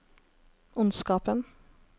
ondskapen